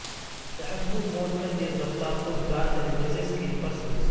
تحفظ موڈ میں تیز رفتار خود کار طریقے سے سکرین پر سوئچ